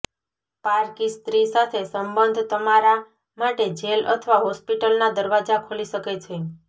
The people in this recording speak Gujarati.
પારકી સ્ત્રી સાથે સંબંધ તમારા માટે જેલ અથવા હોસ્પિટલના દરવાજા ખોલી શકે છે